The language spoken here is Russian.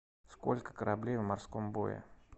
сколько кораблей в морском бое